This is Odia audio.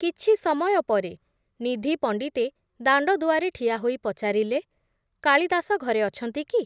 କିଛି ସମୟ ପରେ, ନିଧି ପଣ୍ଡିତେ ଦାଣ୍ଡଦୁଆରେ ଠିଆହୋଇ ପଚାରିଲେ, କାଳିଦାସ ଘରେ ଅଛନ୍ତି କି ।